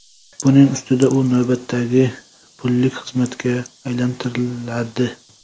Buning ustida u navbatdagi pullik xizmatga aylantiriladi.